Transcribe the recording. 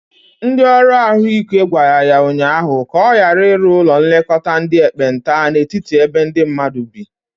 Ndi ọrụ ahụ ike gwara ya ụnyaahụ ka ọ gara iru ụlọ nlekota ndi ekpenta n'etiti ebe ndi mmadu bi.